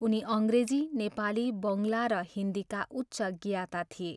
उनी अङ्ग्रेजी, नेपाली, बङ्गला र हिन्दीका उच्च ज्ञाता थिए।